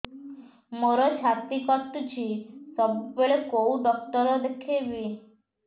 ମୋର ଛାତି କଟୁଛି ସବୁବେଳେ କୋଉ ଡକ୍ଟର ଦେଖେବି